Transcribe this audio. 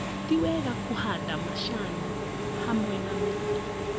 Ti wega kũhanda macani hamwe na mĩtĩ